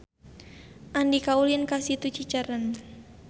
Andika ulin ka Situ Cicerem